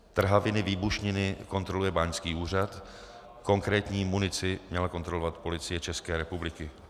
Trhaviny, výbušniny kontroluje Báňský úřad, konkrétní munici měla kontrolovat Policie České republiky.